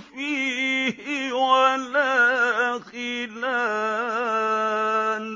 فِيهِ وَلَا خِلَالٌ